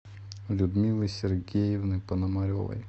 людмилы сергеевны пономаревой